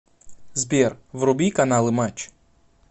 сбер вруби каналы матч